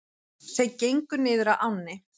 Þau gengu niður að ánni.